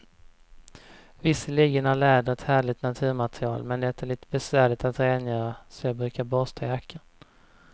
Visserligen är läder ett härligt naturmaterial, men det är lite besvärligt att rengöra, så jag brukar borsta jackan.